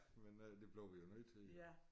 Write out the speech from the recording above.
Men øh det blev vi jo nødt til jo